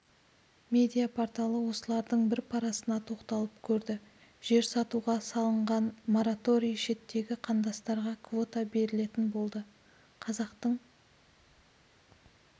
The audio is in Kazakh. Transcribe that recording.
медиа-порталы осылардың бір парасына тоқталып көрді жер сатуға салынған мораторий шеттегі қандастарға квота берілетін болды қазақтың